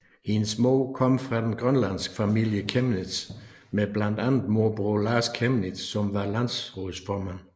Hendes mor kommer fra den grønlandske familie Chemnitz med blandt andet morbror Lars Chemnitz som var landsrådsformand